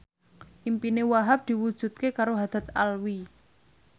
impine Wahhab diwujudke karo Haddad Alwi